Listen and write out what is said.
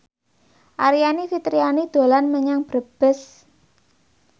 Aryani Fitriana dolan menyang Brebes